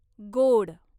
गोड